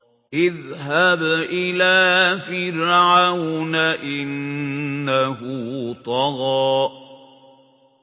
اذْهَبْ إِلَىٰ فِرْعَوْنَ إِنَّهُ طَغَىٰ